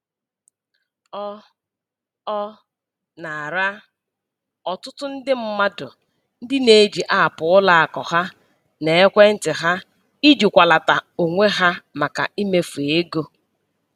Ọ Ọ na-ara ọtụtụ ndị mmadụ ndị na-eji apụ ụlọakụ ha n'ekwentị ahụ ijikwalata onwe ha maka mmefu ego